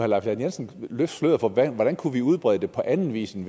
lahn jensen løfte sløret for hvordan vi kunne udbrede det på anden vis end